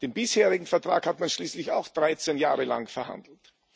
Den bisherigen Vertrag hat man schließlich auch 13 Jahre lang verhandelt.